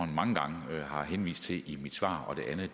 mange gange har henvist til i mit svar og